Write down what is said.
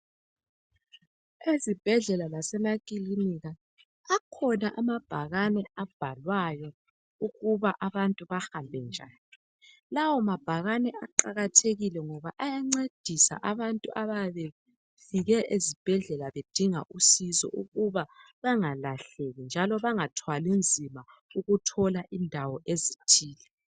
Ezibhedlela lasemaklinika akhona amabhakane abhalwayo ukuba abantu bahambe njani, lawa mabhakani aqakathekile ngoba ayancedisa abantu abayabe befike esibhedlela bedinga usizo ukuba bengalahleki njalo bengathwali nzima ukuthola indawo ezithile.